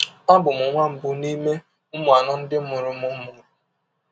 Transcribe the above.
Abụ m nwa mbụ n’ime ụmụ anọ ndị mụrụ m mụrụ.